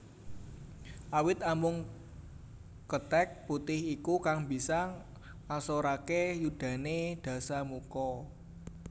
Awit amung kethèk putih iku kang bisa ngasoraké yudané Dasamuka